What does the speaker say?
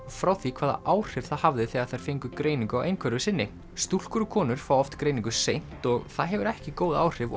frá því hvaða áhrif það hafði þegar þær fengu greiningu á einhverfu sinni stúlkur og konur fá oft greiningu seint og það hefur ekki góð áhrif